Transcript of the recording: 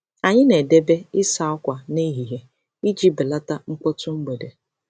Anyị na-edebe ịsa ákwà n'ehihie iji belata mkpọtụ mgbede.